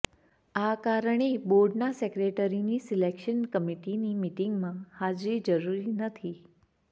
આ કારણે બોર્ડના સેક્રેટરીની સિલેક્શન કમિટિની મિટિંગમાં હાજરી જરુરી નથી